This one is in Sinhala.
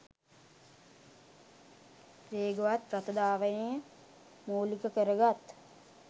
වේගවත් රථ ධාවනය මූලික කරගත්